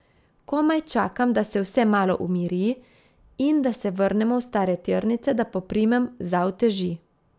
Komaj čakam, da se vse malo umiri in da se vrnemo v stare tirnice, da poprimem za uteži.